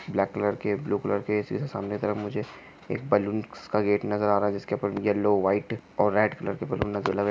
Block colour के blue colour के सामने की तरफ मुझे एक बालून्स का गेट नजर आ रहा है। जिसके ऊपर येल्लो व्हाइट और रेड कलर बालून्स नज़र --